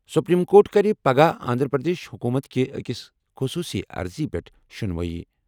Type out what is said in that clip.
Supreme court کَرِ پگہہ آنٛدھرا پرٛدیش حکوٗمت کہِ أکِس خصوٗصی عرضی پٮ۪ٹھ شُنوٲیی۔